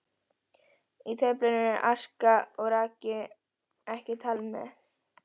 Í töflunni eru aska og raki ekki talin með.